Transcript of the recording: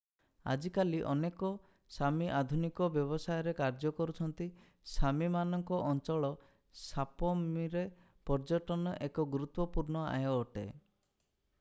ଆଜିକାଲି ଅନେକ ସାମି ଆଧୁନିକ ବ୍ୟବସାୟରେ କାର୍ଯ୍ୟ କରୁଛନ୍ତି ସାମିମାନଙ୍କ ଅଞ୍ଚଳ ସାପମିରେ ପର୍ଯ୍ୟଟନ ଏକ ଗୁରୁତ୍ୱପୂର୍ଣ୍ଣ ଆୟ ଅଟେ